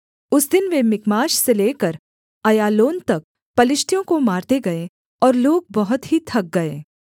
उस दिन वे मिकमाश से लेकर अय्यालोन तक पलिश्तियों को मारते गए और लोग बहुत ही थक गए